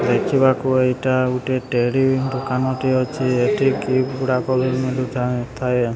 ଦେଖିବାକୁ ଏଇଟା ଗୁଟେ ଦୁକାନ ଟେ ଅଛି ଏଠି ଥାଏ।